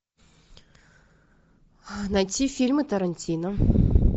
найти фильмы тарантино